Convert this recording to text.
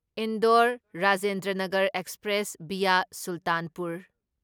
Indore Rajendranagar express via Sultanpur